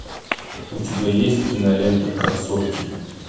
у тебя есть кинолента красотки